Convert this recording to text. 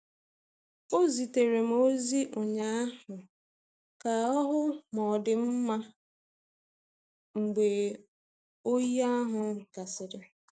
Ọ zitere m ozi ụnyaahụ ka ọ hụ ma ọ dị m mma mgbe oyi ahụ gasịrị.